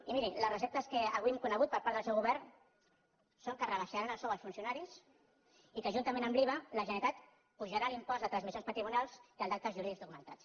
i miri les receptes que avui hem conegut per part del seu govern són que es rebaixarà el sou als funcionaris i que juntament amb l’iva la generalitat apujarà l’impost de transmissions patrimonials i el d’actes jurídics documentats